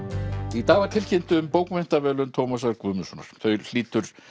í dag var tilkynnt um bókmenntaverðlaun Tómasar Guðmundssonar þau hlýtur